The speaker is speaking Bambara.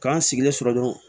K'an sigilen sɔrɔ dɔrɔn